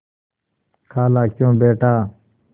खालाक्यों बेटा